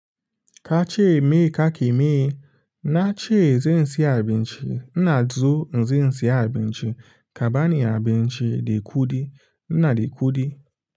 Ka ce me ka ke me? Nace zan siya abinci. Ina zo in zo in siya abinci. Ka bani abinci de kuɗi, ina de kuɗi.